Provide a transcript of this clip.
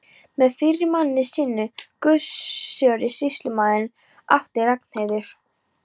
Með fyrri manni sínum, Gissuri sýslumanni, átti Ragnheiður